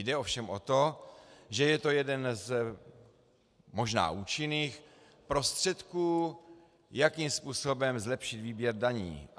Jde ovšem o to, že je to jeden z možná účinných prostředků, jakým způsobem zlepšit výběr daní.